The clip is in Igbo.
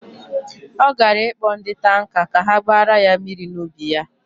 Ọ gara ịkpọ ndị tanka ka ha gbara ya mmiri n'ubi ya.